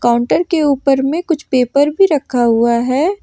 Counter के ऊपर में कुछ पेपर भी रखा हुआ है।